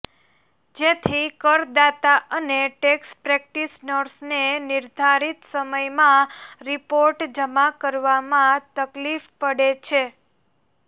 જેથી કરદાતા અને ટેક્સ પ્રેક્ટિશનર્સને નિર્ધારિત સમયમાં રિપોર્ટ જમા કરાવવામાં તકલીફ પડે છે